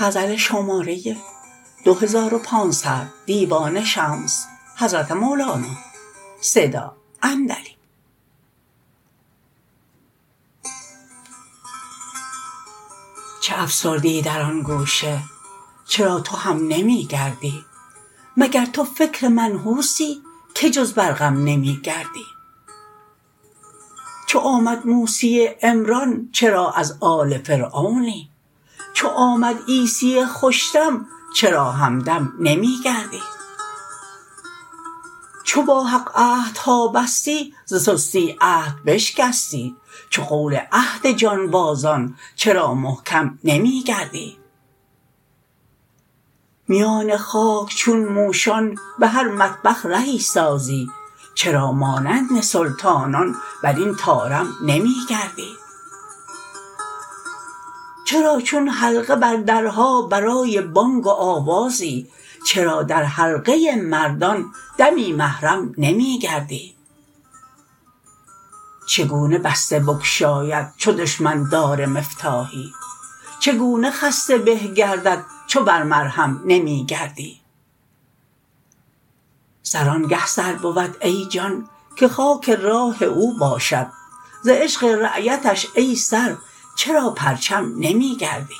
چه افسردی در آن گوشه چرا تو هم نمی گردی مگر تو فکر منحوسی که جز بر غم نمی گردی چو آمد موسی عمران چرا از آل فرعونی چو آمد عیسی خوش دم چرا همدم نمی گردی چو با حق عهدها بستی ز سستی عهد بشکستی چو قول عهد جانبازان چرا محکم نمی گردی میان خاک چون موشان به هر مطبخ رهی سازی چرا مانند سلطانان بر این طارم نمی گردی چرا چون حلقه بر درها برای بانگ و آوازی چرا در حلقه مردان دمی محرم نمی گردی چگونه بسته بگشاید چو دشمن دار مفتاحی چگونه خسته به گردد چو بر مرهم نمی گردی سر آنگه سر بود ای جان که خاک راه او باشد ز عشق رایتش ای سر چرا پرچم نمی گردی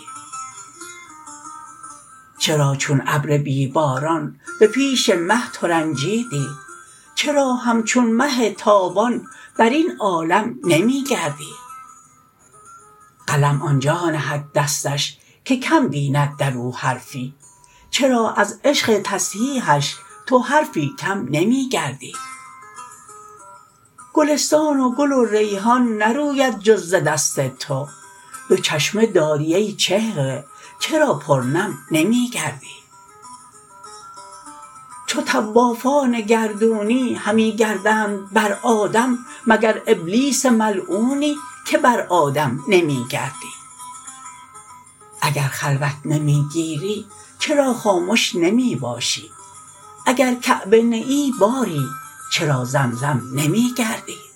چرا چون ابر بی باران به پیش مه ترنجیدی چرا همچون مه تابان بر این عالم نمی گردی قلم آن جا نهد دستش که کم بیند در او حرفی چرا از عشق تصحیحش تو حرفی کم نمی گردی گلستان و گل و ریحان نروید جز ز دست تو دو چشمه داری ای چهره چرا پرنم نمی گردی چو طوافان گردونی همی گردند بر آدم مگر ابلیس ملعونی که بر آدم نمی گردی اگر خلوت نمی گیری چرا خامش نمی باشی اگر کعبه نه ای باری چرا زمزم نمی گردی